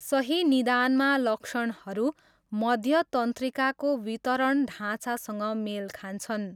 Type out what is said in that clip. सही निदानमा लक्षणहरू मध्य तन्त्रिकाको वितरण ढाँचासँग मेल खान्छन्।